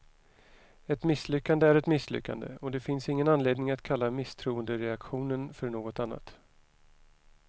Ett misslyckande är ett misslyckande, och det finns ingen anledning att kalla misstroendeaktionen för något annat.